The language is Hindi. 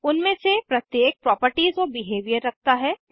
उनमे से प्रत्येक प्रॉपर्टीज और बिहेवियर रखता हैं